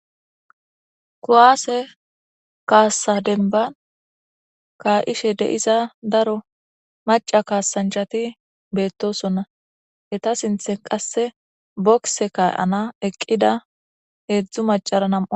kowaase kaassa denban kaa7ishe deiza daro maca kaasanchati beettosonna heta sinthen qasse bokise kaay7ana eqqida heedzdzu macara nam